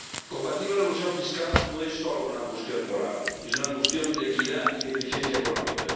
Combatir la elusión fiscal no es solo una cuestión moral es una cuestión de equidad y de eficiencia económica.